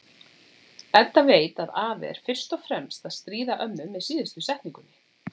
Edda veit að afi er fyrst og fremst að stríða ömmu með síðustu setningunni.